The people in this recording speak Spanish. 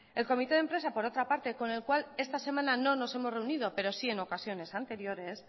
el comité de empresa por otra parte con el cual esta semana no nos hemos reunido pero sí en ocasiones anteriores